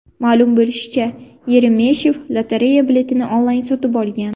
Ma’lum bo‘lishicha, Yeremeshev lotereya biletini onlayn sotib olgan.